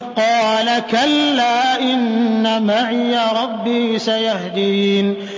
قَالَ كَلَّا ۖ إِنَّ مَعِيَ رَبِّي سَيَهْدِينِ